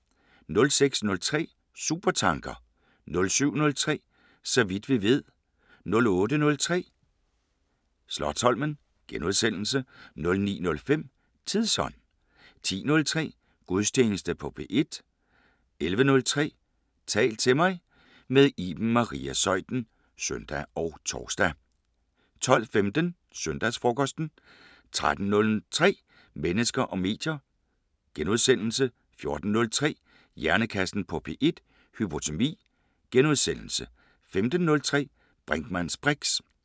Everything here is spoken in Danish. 06:03: Supertanker 07:03: Så vidt vi ved 08:03: Slotsholmen * 09:05: Tidsånd 10:03: Gudstjeneste på P1 11:03: Tal til mig – med Iben Maria Zeuthen (søn og tor) 12:15: Søndagsfrokosten 13:03: Mennesker og medier * 14:03: Hjernekassen på P1: Hypotermi * 15:03: Brinkmanns briks *